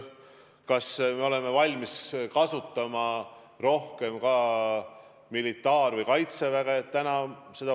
Kas me oleme valmis kasutama rohkem ka militaar- või kaitseväge?